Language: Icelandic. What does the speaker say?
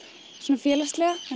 svona félagslega